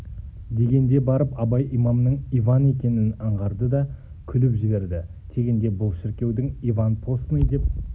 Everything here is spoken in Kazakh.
дегенде барып абай имамның иван екенін аңғарды да күліп жіберді тегінде бұл шіркеудің иван постный деп